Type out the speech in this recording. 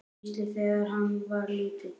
Gísla, þegar hann var lítill.